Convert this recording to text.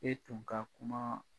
E tun ka kumaa